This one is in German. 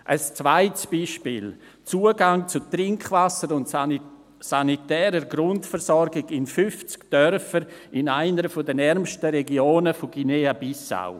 Ein zweites Beispiel: Zugang zu Trinkwasser und sanitärer Grundversorgung in 50 Dörfern in einer der ärmsten Regionen von Guinea-Bissau.